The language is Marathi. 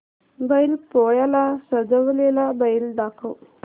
बैल पोळ्याला सजवलेला बैल दाखव